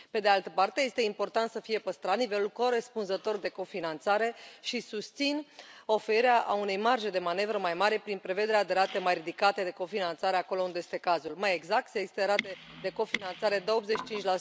Pe de altă parte, este important să fie păstrat nivelul corespunzător de cofinanțare și susțin oferirea unei marje de manevră mai mari prin prevederea de rate mai ridicate de cofinanțare acolo unde este cazul, mai exact să existe rate de cofinanțare de 85